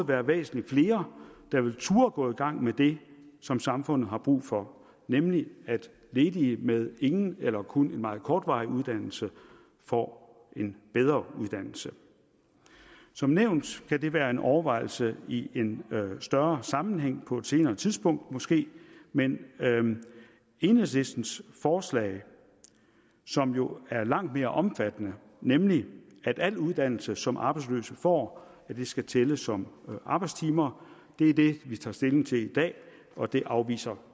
være væsentlig flere der ville turde at gå i gang med det som samfundet har brug for nemlig at ledige med ingen eller kun en meget kortvarig uddannelse får en bedre uddannelse som nævnt kan det være en overvejelse i en større sammenhæng på et senere tidspunkt måske men enhedslistens forslag som jo er langt mere omfattende nemlig at al uddannelse som arbejdsløse får skal tælle som arbejdstimer er det vi tager stilling til i dag og det afviser